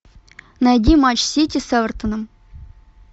найди матч сити с эвертоном